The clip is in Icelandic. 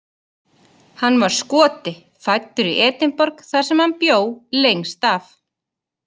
Hann var Skoti, fæddur í Edinborg þar sem hann bjó lengst af.